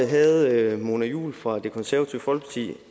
havde mona juul fra det konservative folkeparti